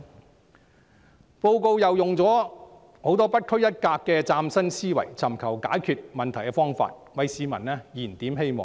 施政報告亦以不拘一格的大量嶄新思維，尋求解決問題的方法，為市民"燃點希望"。